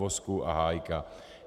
Vozku a Hájka.